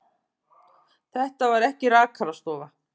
Þetta var ekki rakarastofa.